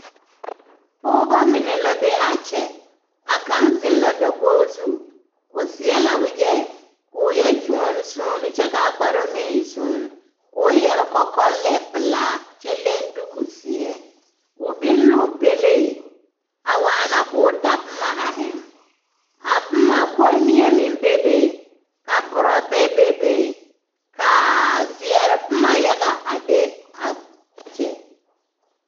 Pɔgebɔ mine la be a kyɛ, a kaŋ zeŋ la dakogi zu o seɛ la wegyɛ k'o yɛ kyoɔne kyoɔne soone kyɛ k'a kparoŋ meŋ e soone k'o yɛre kɔkɔlɛɛ pelaa kyɛ leŋ duuku zeɛ, o biŋ l'o pelee a waana k'o da boma a eŋ, a boma kommie meŋ bebe ka borɔbɛ bebe ka zeɛre boma yaga a be a kyɛ.